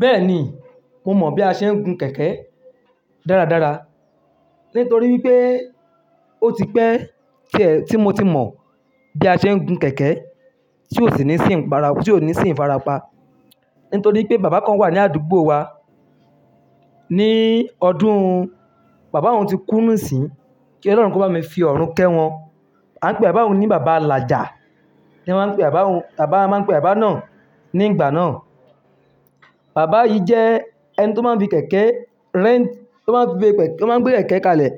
Bẹ́ẹ̀ni, mo mọ̀ bí a ṣe ń gun kẹ̀kẹ́ dáradára nítorí wípé ó ti pẹ́ tí è, tí mo ti mọ bí a ṣe ń gun kẹ̀kẹ́ tí ò sì ní sí ìpara, tí ò ní sí ìfarapa. Nítorí pé bàbá kan wà ní àdúgbò wa, ní ọdún Bàbá hun ti kú nísìíń, kí Olórun kó bá mi fi ọ̀run kẹ́ wọn. A ń pe bàbá hun ní bàbá Laja, ni wọ́n máa ń pe bàbá hun. Bàbá máa ń pe àbá náà ní ìgbà náà. Bàbá yìí jẹ́ ẹni tó máa ń fi kẹ̀kẹ́ rent, tó máa ń fi gbé kẹ̀kẹ́, tó máa ń gbé kẹ̀kẹ́ kalẹ̀